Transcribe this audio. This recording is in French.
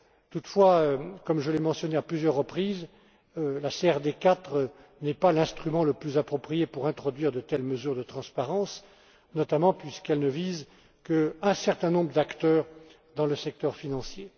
Toutefois, comme je l'ai mentionné à plusieurs reprises, la CRD IV n'est pas l'instrument le plus approprié pour introduire de telles mesures de transparence, notamment puisqu'elle ne vise qu'un certain nombre d'acteurs dans le secteur financier.